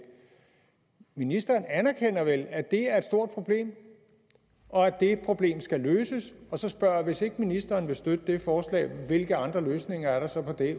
ministeren erkender vel at det er et stort problem og at det problem skal løses så spørger jeg hvis ikke ministeren vil støtte det forslag hvilke andre løsninger er der så